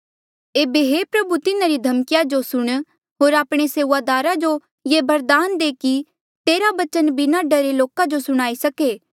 एेबे हे प्रभु तिन्हारी धमिकया जो सुण होर आपणे सेऊआदारा जो ये बरदान दे कि तेरा बचन बिना डरे लोका जो सुणाई सके